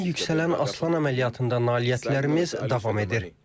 İsrailin yüksələn aslan əməliyyatında nailiyyətlərimiz davam edir.